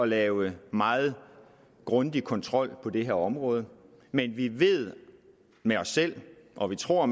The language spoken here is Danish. lave meget grundig kontrol på det her område men vi ved med os selv og vi tror